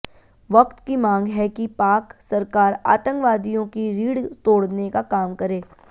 वक्त की मांग है कि पाक सरकार आतंकवादियों की रीढ़ तोड़ने का काम करे